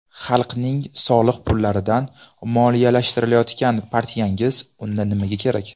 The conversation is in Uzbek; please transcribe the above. Xalqning soliq pullaridan moliyalashtirilayotgan partiyangiz unda nimaga kerak?